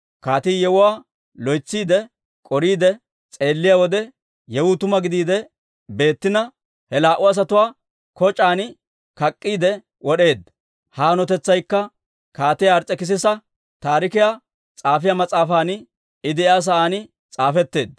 Kaatii yewuwaa loytsiide, k'oriide s'eelliyaa wode, yewuu tuma gidiide beettina, he laa"u asatuwaa koc'aan kak'k'iide wod'eedda. Ha hanotetsaykka Kaatiyaa Ars's'ekisisa Taarikiyaa S'aafiyaa mas'aafan I de'iyaa sa'aan s'aafetteedda.